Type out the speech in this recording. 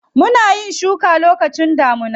Muna yin shuka lokacin damuna.